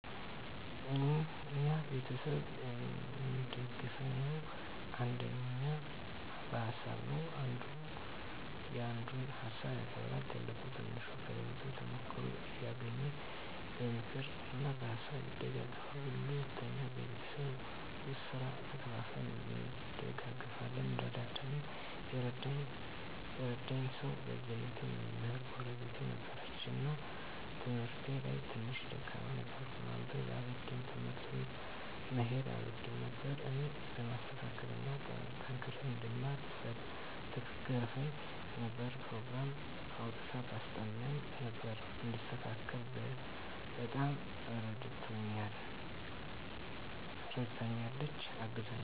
እኛ ቤተሰብ እሚደጋገፈዉ አንደኛ በሀሳብ ነዉ። አንዱ ያንዱን ሀሳብ ያከብራል፣ ትልቁ ትንሹን ከህይወቱ ተሞክሮ እያደረገ በምክር እና በሀሳብ ይደግፉናል። ሁለተኛ በቤት ዉስጥ ስራ ተከፋፍለን እንደጋገፋለን (እንረዳዳለን) ። የረዳኝ ሰዉ በልጅነቴ መምህር ጎረቤት ነበረችን እና በትምህርቴ ላይ ትንሽ ደካማ ነበርኩ፤ ማንበብ አልወድም፣ ትምህርት ቤት መሄድ አልወድም ነበር እኔን ለማስተካከል እና ጠንክሬ እንድማር ትገርፈኝ ነበር፣ ኘሮግራም አዉጥታ ታስጠናኝ ነበር፣ እንድስተካከል በጣም እረድታኛለች(አግዛኛለች) ።